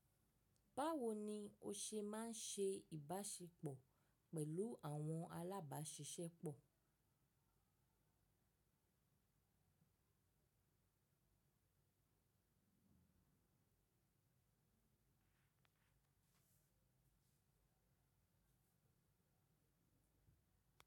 Báwo ni o ṣe máa ń ṣe ìbáṣepọ̀ pẹ̀lú àwọn alábáṣiṣẹ́ pọ̀?